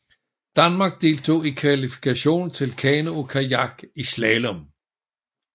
Danmark deltog ikke i kvalifikationen til kano og kajak i slalom